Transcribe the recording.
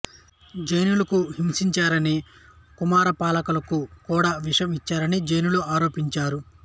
జైనులను హింసించారని కుమారపాలకు కూడా విషం ఇచ్చారని జైనులు ఆరోపించారు